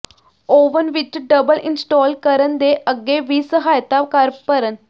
oven ਵਿਚ double install ਕਰਨ ਦੇ ਅੱਗੇ ਵੀ ਸਹਾਇਤਾ ਕਰ ਭਰਨ